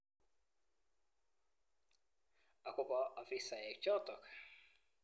Akobo ofisaek chotok.